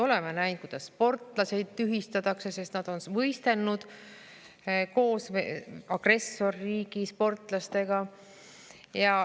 Oleme näinud, kuidas sportlasi tühistatakse, sest nad on võistelnud koos agressorriigi sportlastega.